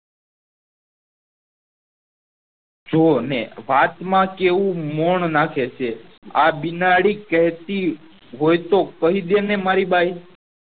શું ને વાત માં કેવું મોણ નાખે છે આ બીનાડી કેહતી હોય તો કહી દે ને મારી બાઈ